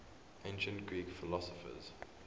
ancient greek philosophers